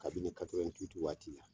Kabini katɔrɔwɛni witi waati la